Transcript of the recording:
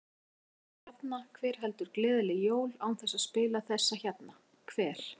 Sjáðu þennan hérna, hver heldur gleðileg jól án þess að spila þessa hérna, hver?